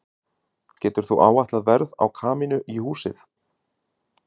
Getur þú áætlað verð á kamínu í húsið?